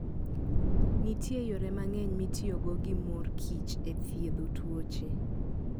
Nitie yore mang'eny mitiyogo gi mor kich e thiedho tuoche.